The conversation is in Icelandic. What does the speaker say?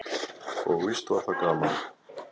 Og víst var það gaman.